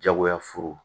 Jagoya furu